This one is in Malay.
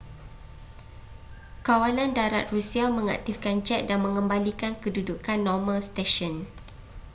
kawalan darat rusia mengaktifkan jet dan mengembalikan kedudukan normal stesen